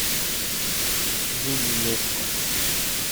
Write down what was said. жюли леско